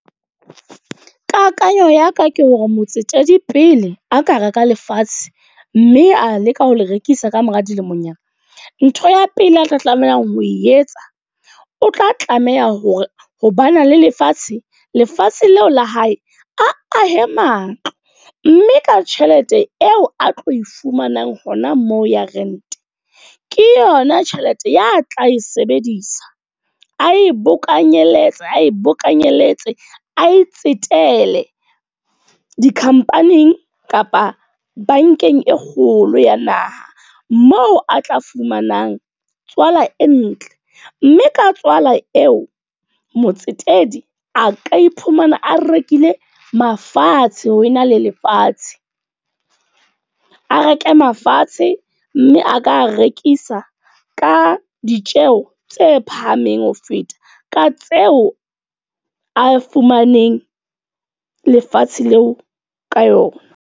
Kakanyo ya ka ke hore motsetedi pele a ka reka lefatshe. Mme a leka ho le rekisa ka mora dilemonyana. Ntho ya pele a tla tlamehang ho e etsa. O tla tlameha hore ho bana le lefatshe. Lefatshe leo la hae, a ahe matlo. Mme ka tjhelete eo a tlo e fumanang hona moo ya rent ke yona tjhelete ya tla e sebedisa. A e bokanyeletse ae bokanyeletse, a e tsetele di-company-ing kapa bankeng e kgolo ya naha. Moo a tla fumanang tswala e ntle. Mme ka tswala eo, motsetedi a ka iphumana a rekile mafatshe, ho ena le lefatshe. A reke mafatshe, mme a ka rekisa ka ditjeho tse phahameng ho feta. Ka tseo a fumaneng lefatshe leo ka yona.